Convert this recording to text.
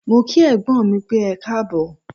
Mó kí ẹ̀gbọ́n mí pẹ́, ẹkáàbọ̀.